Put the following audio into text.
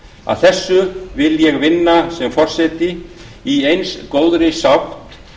að þessu vil ég vinna sem forseti í eins góðri sátt